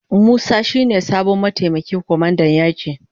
Musa shi ne sabon mataimakin kwamandan yaki.